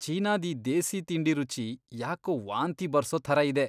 ಚೀನಾದ್ ಈ ದೇಸೀ ತಿಂಡಿ ರುಚಿ ಯಾಕೋ ವಾಂತಿ ಬರ್ಸೋ ಥರ ಇದೆ.